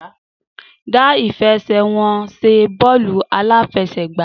Dá ìfẹsẹ̀wọnsẹ̀ bọ́ọ̀lù aláfẹsẹ̀gbá